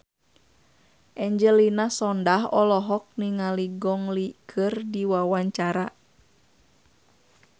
Angelina Sondakh olohok ningali Gong Li keur diwawancara